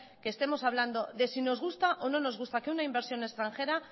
que estemos hablando de si nos gusta o no nos gusta que una inversión extranjera